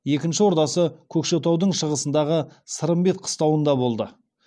екінші ордасы көкшетаудың шығысындағы сырымбет қыстауында болды